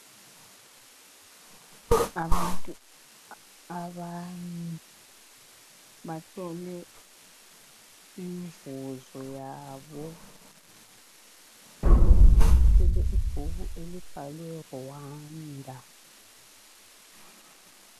Abantu abane bathole imivuzo yabo omunye uthwele ibhuku elibhalwe Rwanda.